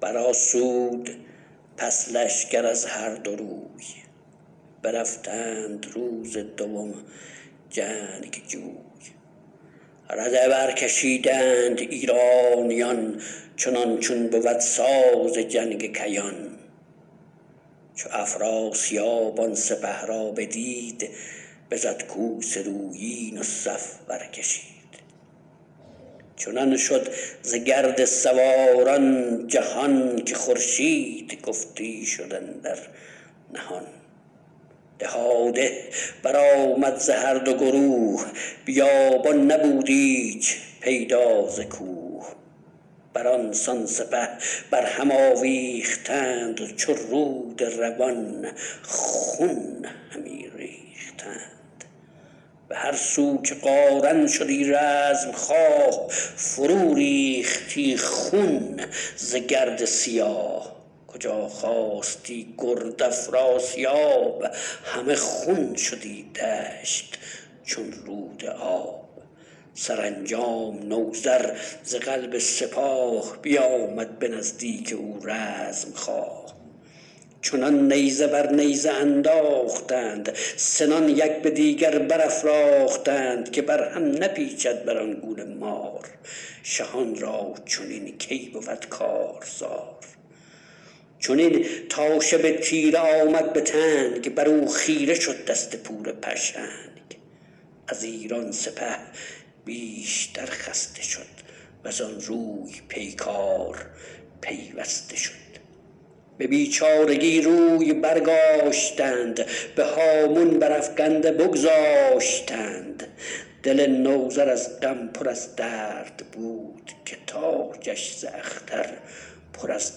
برآسود پس لشکر از هر دو روی برفتند روز دوم جنگجوی رده برکشیدند ایرانیان چنان چون بود ساز جنگ کیان چو افراسیاب آن سپه را بدید بزد کوس رویین و صف برکشید چنان شد ز گرد سواران جهان که خورشید گفتی شد اندر نهان دهاده برآمد ز هر دو گروه بیابان نبود ایچ پیدا ز کوه برانسان سپه بر هم آویختند چو رود روان خون همی ریختند به هر سو که قارن شدی رزمخواه فرو ریختی خون ز گرد سیاه کجا خاستی گرد افراسیاب همه خون شدی دشت چون رود آب سرانجام نوذر ز قلب سپاه بیامد به نزدیک او رزمخواه چنان نیزه بر نیزه انداختند سنان یک به دیگر برافراختند که بر هم نپیچد بران گونه مار شهان را چنین کی بود کارزار چنین تا شب تیره آمد به تنگ برو خیره شد دست پور پشنگ از ایران سپه بیشتر خسته شد وزان روی پیکار پیوسته شد به بیچارگی روی برگاشتند به هامون برافگنده بگذاشتند دل نوذر از غم پر از درد بود که تاجش ز اختر پر از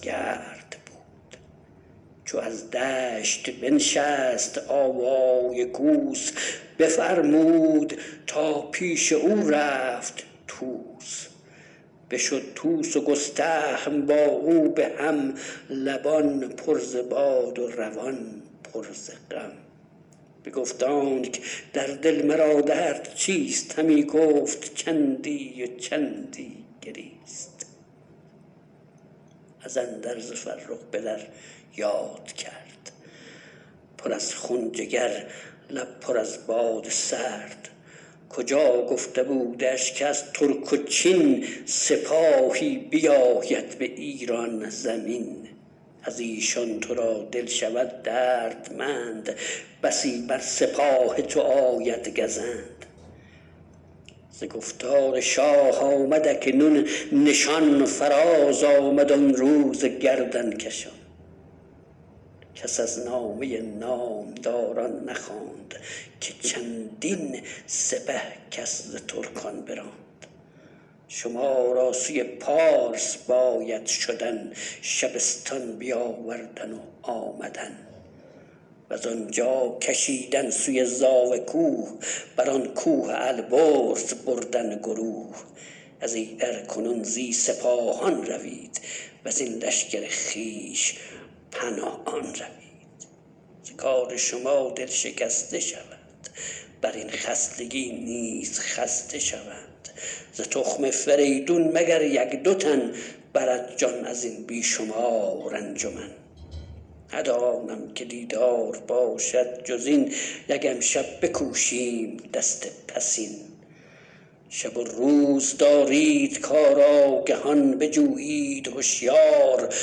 گرد بود چو از دشت بنشست آوای کوس بفرمود تا پیش او رفت طوس بشد طوس و گستهم با او به هم لبان پر ز باد و روان پر ز غم بگفت آنک در دل مرا درد چیست همی گفت چندی و چندی گریست از اندرز فرخ پدر یاد کرد پر از خون جگر لب پر از باد سرد کجا گفته بودش که از ترک و چین سپاهی بیاید به ایران زمین ازیشان ترا دل شود دردمند بسی بر سپاه تو آید گزند ز گفتار شاه آمد اکنون نشان فراز آمد آن روز گردنکشان کس از نامه نامداران نخواند که چندین سپه کس ز ترکان براند شما را سوی پارس باید شدن شبستان بیاوردن و آمدن وزان جا کشیدن سوی زاوه کوه بران کوه البرز بردن گروه ازیدر کنون زی سپاهان روید وزین لشکر خویش پنهان روید ز کار شما دل شکسته شوند برین خستگی نیز خسته شوند ز تخم فریدون مگر یک دو تن برد جان ازین بی شمار انجمن ندانم که دیدار باشد جزین یک امشب بکوشیم دست پسین شب و روز دارید کارآگهان بجویید هشیار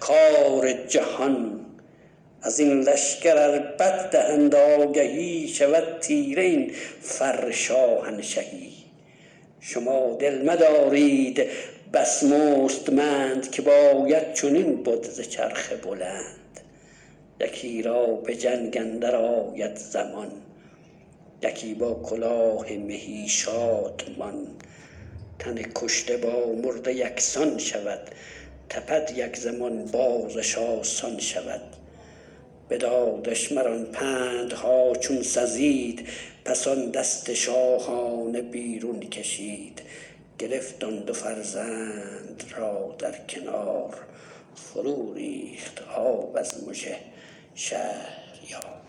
کار جهان ازین لشکر ار بد دهند آگهی شود تیره این فر شاهنشهی شما دل مدارید بس مستمند که باید چنین بد ز چرخ بلند یکی را به جنگ اندر آید زمان یکی با کلاه مهی شادمان تن کشته با مرده یکسان شود تپد یک زمان بازش آسان شود بدادش مران پندها چون سزید پس آن دست شاهانه بیرون کشید گرفت آن دو فرزند را در کنار فرو ریخت آب از مژه شهریار